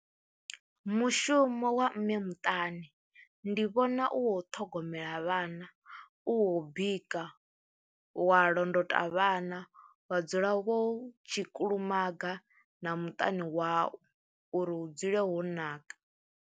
Mushumo wa mme muṱani ndi vhona u wo ṱhogomela vhana, u wo u bika, wa londota vhana, wa dzula wo tshi kulumaga na muṱani wau uri hu dzule ho naka.